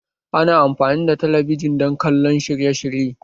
Ana amfani da talabijin don kallon shirye-shirye